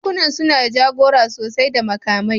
Bankunan suna da jagora sosai da makamai